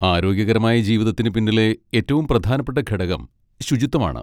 ആരോഗ്യകരമായ ജീവിതത്തിന് പിന്നിലെ ഏറ്റവും പ്രധാനപ്പെട്ട ഘടകം ശുചിത്വമാണ്.